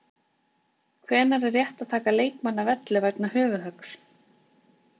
Hvenær er rétt að taka leikmann af velli vegna höfuðhöggs?